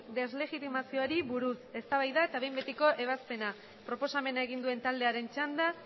deslegitimazioari buruz eztabaida eta behin betiko ebazpena proposamena egin duen taldearen txanda